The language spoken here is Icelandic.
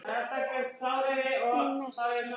Í messi.